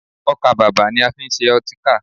Ọkà-bàbà ni a fi ń ṣe ọtíkà